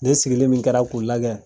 Ne sigili min kɛra k'u lagɛ